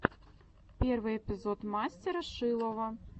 первый эпизод мастера шилова